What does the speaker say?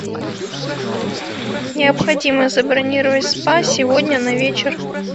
необходимо забронировать спа сегодня на вечер